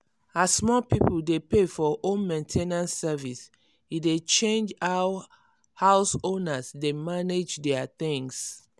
as more people dey pay for home main ten ance service e dey change how house owners dey manage their things.